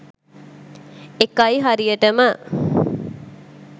ඒකයි හරියටම